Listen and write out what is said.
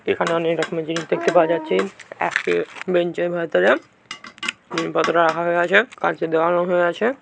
এখানে অনেক রকমের জিনিস দেখতে পাওয়া যাচ্ছে একটি বেঞ্চের বদরা হয়ে আছে।